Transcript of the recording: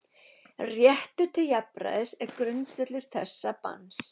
Réttur til jafnræðis er grundvöllur þessa banns.